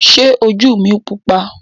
Ṣé ojú mi pupa?